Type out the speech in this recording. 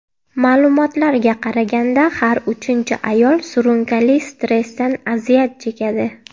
Ma’lumotlarga qaraganda, har uchinchi ayol surunkali stressdan aziyat chekadi.